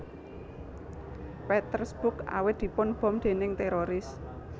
Petersburg awit dipun bom déning téroris